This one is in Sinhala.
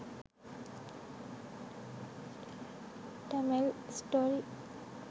tamil story